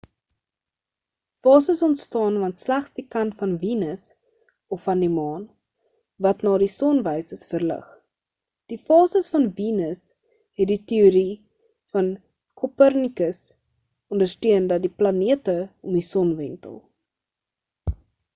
fases onstaan want slegs die kant van venus of van die maan wat na die son wys is verlig. die fases van venus het die teorie van copernicus ondersteun dat die planete om die son wentel